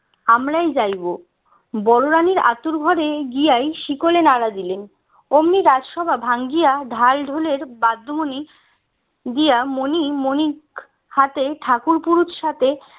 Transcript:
আমরাই যাইবো বড় রানীর আঁতুড় ঘরে গিয়াই শিকলে নাড়া দিলেন অমনি রাজসভা ভাঙ্গিয়া ঢাল ঢোলের বাদ্য মণি দিয়া মনি মণিক হাতে ঠাকুর পুরুত সাথে